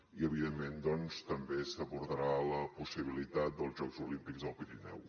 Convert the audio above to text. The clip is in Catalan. i evidentment doncs també s’abordarà la possibilitat dels jocs olímpics al pirineu